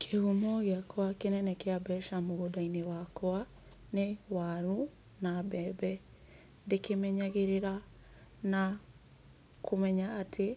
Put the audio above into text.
Kĩhumo gĩakwa kĩnene kĩa mbeca mũgũnda-inĩ wakwa nĩ waru na mbembe. Ndĩkĩmenyagĩrĩra na kũmenya atĩ